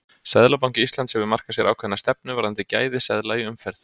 Seðlabanki Íslands hefur markað sér ákveðna stefnu varðandi gæði seðla í umferð.